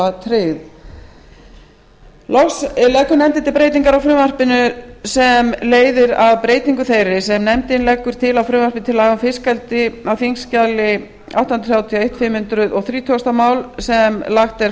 ráðgjafaraðila tryggð loks leggur nefndin til breytingu á frumvarpinu sem leiðir af breytingu þeirri sem nefndin leggur til á frumvarpi til laga um fiskeldi samanber fimm hundruð þrítugustu mál á þingskjali átta hundruð þrjátíu og eitt sem lagt er